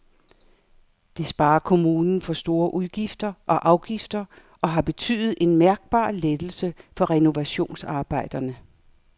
Det sparer kommunen for store udgifter og afgifter og har betydet en mærkbar lettelse for renovationsarbejderne.